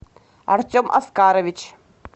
артем оскарович